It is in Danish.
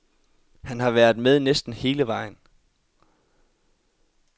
Han har været med næsten hele vejen.